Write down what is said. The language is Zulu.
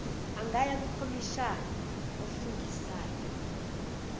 angaya kukhomishina ofungisayo